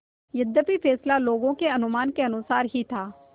यद्यपि फैसला लोगों के अनुमान के अनुसार ही था